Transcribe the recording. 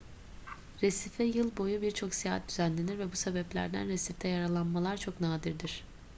resife yıl boyu birçok seyahat düzenlenir ve bu sebeplerden resifte yaralanmalar çok nadirdir